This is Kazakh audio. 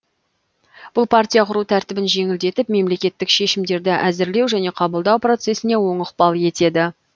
бұл партия құру тәртібін жеңілдетіп мемлекеттік шешімдерді әзірлеу және қабылдау процессіне оң ықпал етеді